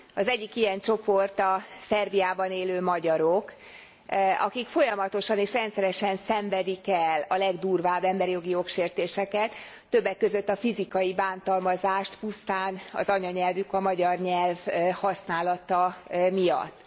Az egyik ilyen csoport a Szerbiában élő magyarok, akik folyamatosan és rendszeresen szenvedik el a legdurvább emberi jogi jogsértéseket, többek között a fizikai bántalmazást, pusztán az anyanyelvük, a magyar nyelv használata miatt.